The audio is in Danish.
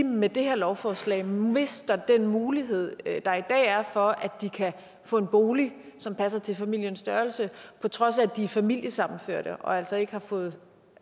med det her lovforslag mister den mulighed der i dag er i for at de kan få en bolig som passer til familiens størrelse på trods af at de er familiesammenført og altså ikke har fået